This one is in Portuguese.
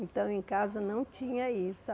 Então, em casa, não tinha isso.